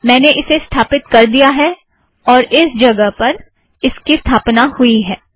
मैंने इसे स्थापित कर दिया है और इस जगह पर इसकी स्थापना हुई है